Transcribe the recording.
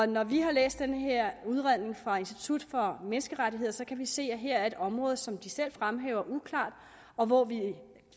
når vi har læst den her udredning fra institut for menneskerettigheder så kan vi se at her er et område som de selv fremhæver er uklart og hvor vi